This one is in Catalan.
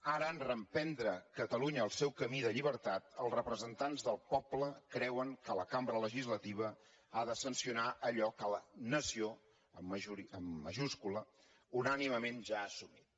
ara en reprendre catalunya el seu camí de llibertat els representants del poble creuen que la cambra legislativa ha de sancionar allò que la nació amb majúscula unànimement ja ha assumit